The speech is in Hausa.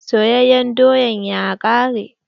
Soyayen doyan ya ƙare.